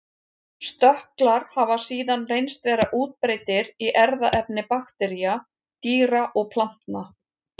Stökklar hafa síðan reynst vera útbreiddir í erfðaefni baktería, dýra og plantna.